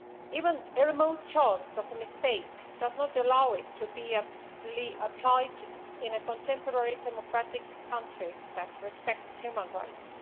Even a remote chance of a mistake does not allow it to be applied in a contemporary democratic country that respects human rights.